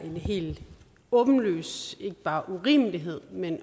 helt åbenlyst ikke bare en urimelighed men